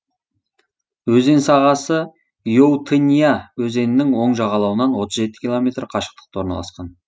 өзен сағасы иоутынья өзенінің оң жағалауынан отыз жеті километр қашықтықта орналасқан